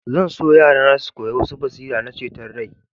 Zan so yarana su ƙoya wasu basira na ceton rai.